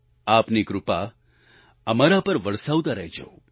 આપની કૃપા અમારા પર વરસાવતા રહેજો